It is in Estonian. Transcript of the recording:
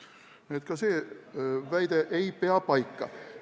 Nii et ka see väide ei pea paika.